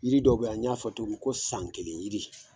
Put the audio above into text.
Yiri dɔw be yan n y'a fɔ togo mi ko san kelen yiri